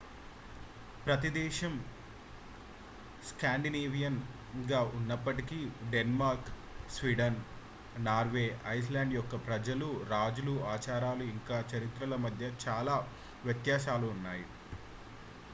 ప్రతి దేశం స్కాండినేవియన్'గా ఉన్నప్పటికీ డెన్మార్క్ స్వీడన్ నార్వే ఐస్లాండ్ యొక్క ప్రజలు రాజులు ఆచారాలు ఇంకా చరిత్రల మధ్య చాలా వ్యత్యాసాలు ఉన్నాయి